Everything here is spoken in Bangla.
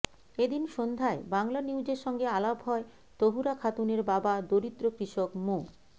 এদিন সন্ধ্যায় বাংলানিউজের সঙ্গে আলাপ হয় তহুরা খাতুনের বাবা দরিদ্র কৃষক মো